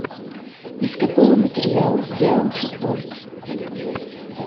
из какого материала сделан шезлонг